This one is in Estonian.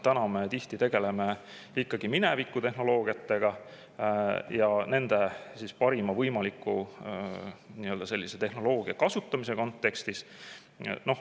Me tihti tegeleme ikkagi mineviku tehnoloogiaga, sellise tehnoloogia parima võimaliku kasutamise kontekstis.